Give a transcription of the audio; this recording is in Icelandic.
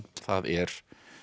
það er